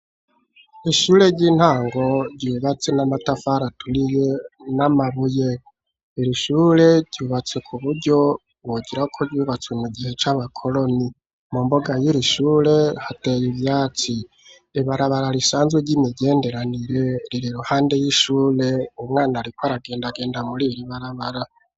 Ishure ry'intango ryubatse n'amatafari aturiye n'amabuye irishure ryubatse ku buryo wogirako ryubatswe mu gihe c'abakoroni mu mbuga y'irishure hateye ivyatsi ibarabara risanzwe ry'imigenderanire rire iruhande y'ishure umwana riko aragenda agenda muri iri barabara